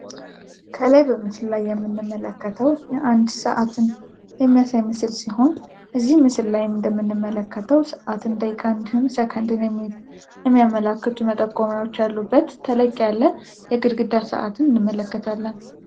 ከላይ በምስሉ ላይ የምንመለከተው የአንድ ሰዓትን የሚያሳይ ምስል ሲሆን፤ እዚ ምስል ላይም እንደምንመለከተው ሰአትን ደቂቃ እንዲሁም ሰከንድን የሚያመላክቱ መጠቆሚያዎች ያሉበት ተለቅ ያለ የግድግዳ ሰዓትን እንመለከታለን።